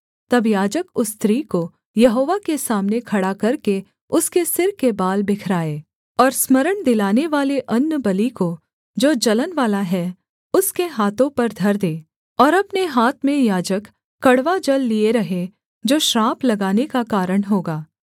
तब याजक उस स्त्री को यहोवा के सामने खड़ा करके उसके सिर के बाल बिखराए और स्मरण दिलानेवाले अन्नबलि को जो जलनवाला है उसके हाथों पर धर दे और अपने हाथ में याजक कड़वा जल लिये रहे जो श्राप लगाने का कारण होगा